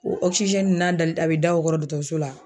O n'a dali a bi da o kɔrɔ dɔkɔtɔrɔso la